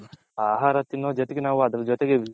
ಆಹಾರ ತಿನ್ನೋ ಜೊತೆಗೆ ನಾವು ಅದರ್ ಜೊತೆಗೆ ವಿಷ .